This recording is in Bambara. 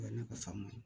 O ye ne ka faama ye